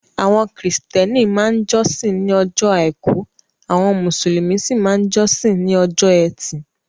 Àwọn kìrìsítẹ́nì máa ń jọ́sìn ní ọjọ́ àìkú, àwọn mùsùlùmí sí máa ń jọ́sìn ní ọjọ́ ẹtì.